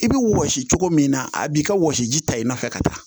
I bɛ wɔsi cogo min na a b'i ka wɔsi ji ta i nɔfɛ ka taa